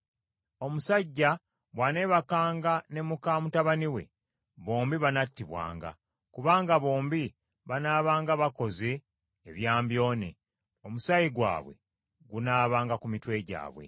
“ ‘Omusajja bw’aneebakanga ne muka mutabani we, bombi banattibwanga. Kubanga bombi banaabanga bakoze ebyambyone; omusaayi gwabwe gunaabanga ku mitwe gyabwe.